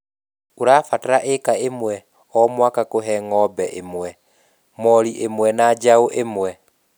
ũrabatara ĩka ĩmwe o mwaka kũhe ng'ombe ĩmwe, mori ĩmwe na njaũ ĩmwe